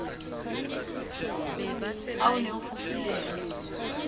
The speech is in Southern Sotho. ha o ne o fufulelwa